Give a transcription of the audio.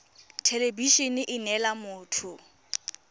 thelebi ene e neela motho